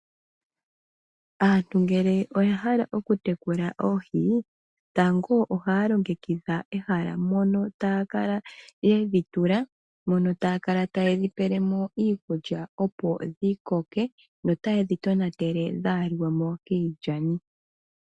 Aantu ngele oya hala okutekula ooghi, tango ohaa longe kidha ehala mono tayakala yedhitula, mono tayakala tayedhi pelemo iikudja opo dhikoke notayedhi tonatele opo dhaalikemo kiijani.